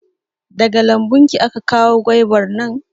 Daga lambun ki aka kawo gwaibar nan?